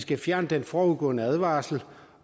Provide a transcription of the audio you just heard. vi fjerner den forudgående advarsel